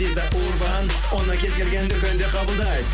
виза урбан оны кез келген дүкенде қабылдайды